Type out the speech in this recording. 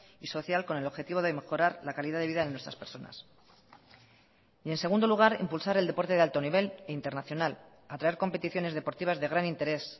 y social con el objetivo de mejorar la calidad de vida de nuestras personas y en segundo lugar impulsar el deporte de alto nivel e internacional atraer competiciones deportivas de gran interés